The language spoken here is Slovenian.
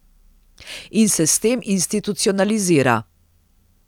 In se s tem institucionalizira.